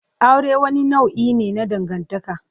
Aure wani nau'i ne na dangantaka.